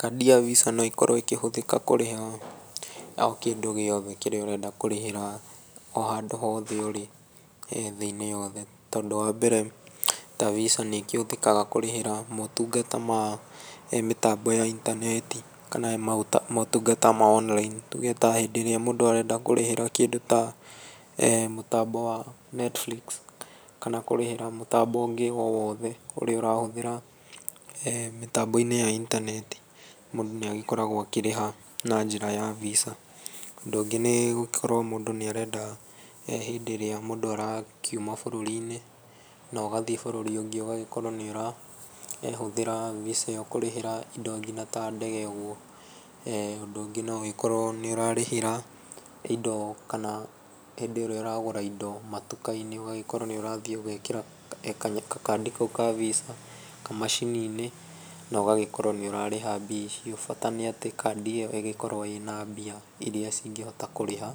Kandi ya Visa no ikorwo igĩtũmĩke kũrĩha o kĩndũ gĩothe kĩrĩa ũrenda kũrĩhĩra o handũ hothe ĩrĩ, thĩ-inĩ yothe, tondũ wambere, ta Visa nĩ ĩkĩhũthĩkaga kũrĩhĩra motungata ma mĩtambo ya intaneti, kana motungata ma online, tuge tahĩndĩ ĩrĩa mũndũ arenda kũrĩhĩra kĩndũ tamũtambo wa Netflix, kana kũrĩhĩra mũtambo ũngĩ o wothe, ũrĩa ũrahũthĩra mĩtambo-inĩ ya intaneti, mũndũ nĩagĩkoragwo akĩrĩha na njĩra ya Visa. Ũndũ ũngĩ nĩ gũgĩkorwo hĩndĩ ĩngĩ ĩrĩa mũndũ arakiuma bũrũri-inĩ, nogathiĩ bũrũri ũngĩ, ũgagĩkorwo nĩ ũrahũthĩra Visa ĩyo kũrĩhĩra kĩndo nginya ta ndege ũguo. Ũndũ ũngĩ no ũgĩkorwo nĩ ũrarĩhĩra indo, kana hĩndĩ ĩrĩa ũragũra indo matũka-inĩ, ũgagĩkorwo nĩ ũrathiĩ ũgekĩra gakaandi kau ka Visa macini-inĩ, na ũgagĩkorwo nĩ ũrarĩha mbia icio. Bata nĩ atĩ, kaandi ĩyo ĩgĩkorwo na mbia iria cingĩhota kũrĩha,